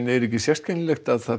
er ekki sérkennilegt að